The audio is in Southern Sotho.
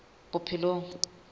bophelong